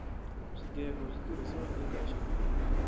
swigego switirhisiwa eka xivulwa